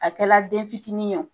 A kɛla den fitinin ye wo